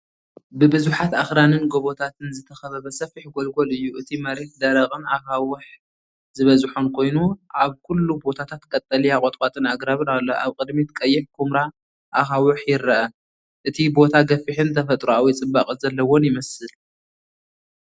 ብብዙሓት ኣኽራንን ጎቦታትን ዝተኸበበ ሰፊሕ ጎልጎል እዩ። እቲ መሬት ደረቕን ኣኻውሕ ዝበዝሖን ኮይኑ፡ ኣብ ኩሉ ቦታታት ቀጠልያ ቁጥቋጥን ኣግራብን ኣሎ። ኣብ ቅድሚት ቀይሕ ኵምራ ኣኻውሕ ይርአ። እቲ ቦታ ገፊሕን ተፈጥሮኣዊ ጽባቐ ዘለዎን ይመስል።